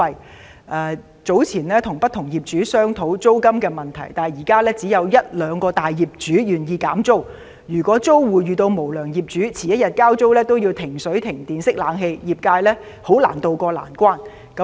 他提及自己早前曾與不同業主商討租金問題，但現時只有一兩位大業主願意減租，如果租戶遇到無良業主，遲1天交租都會被截停水、電、冷氣，業界是難以渡過難關的。